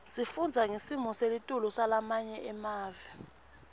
sifundza ngesimo selitulu salamanye emave